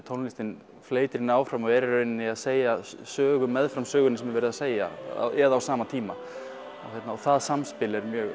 tónlistin fleytir henni áfram og er í rauninni að segja sögu meðfram sögunni sem er verið að segja eða á sama tíma það samspil er mjög